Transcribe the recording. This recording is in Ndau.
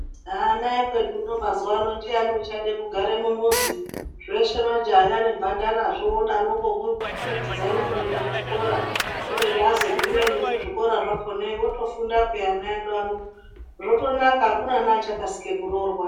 Ana ekwedu unou mazuwaano ndiani uchada kugare mumuzi. Zveshe majaha nemhandara zvodarokoko kukitidzana kuenda kuchikora. Kubeni azogumeyo nekuzvikora zvakonayo otofunda peya ana edu ano zvotonaka akuna neachakasike kuroorwa.